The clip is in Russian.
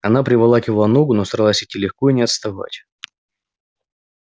она приволакивала ногу но старалась идти легко и не отставать